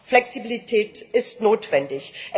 Flexibilität ist notwendig.